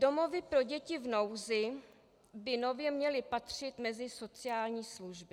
Domovy pro děti v nouzi by nově měly patřit mezi sociální služby.